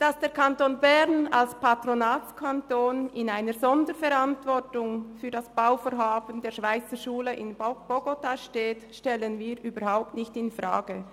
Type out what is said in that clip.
Dass der Kanton Bern als Patronatskanton in einer Sonderverantwortung für das Bauvorhaben der Schweizerschule in Bogotá steht, stellen wir überhaupt nicht infrage.